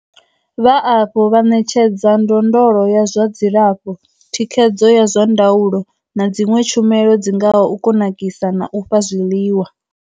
Vha afho vha ṋetshedza ndondolo ya zwa dzilafho, thikhedzo ya zwa ndaulo na dziṅwe tshumelo dzi ngaho u kunakisa na u fha zwiḽiwa.